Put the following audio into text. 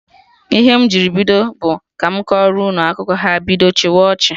Ihe m jiri bido bụ "ka mụ kọrọ unu akụkọ" ha bido chịwa ọchị